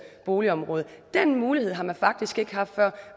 boligområde den mulighed har man faktisk ikke haft før